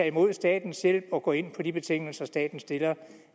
imod statens hjælp og gå ind på de betingelser staten stiller